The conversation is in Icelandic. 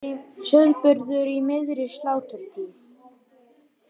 Sauðburður í miðri sláturtíð